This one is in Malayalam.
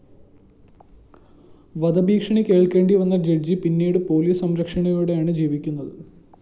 വധഭീഷണി കേള്‍ക്കേണ്ടി വന്ന ജഡ്ജ്‌ പിന്നീടു പോലിസ് സംരക്ഷണയോടെയാണ് ജീവിക്കുന്നത്